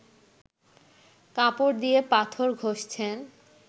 কাপড় দিয়ে পাথর ঘষছেন